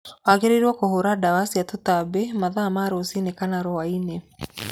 Wagĩrĩirwo kũhũra ndawa cia tũtambi mathaa ma rũciinĩ kana rwa-inĩ.